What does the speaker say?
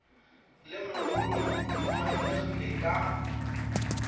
le mogolong di tlwaelegile ka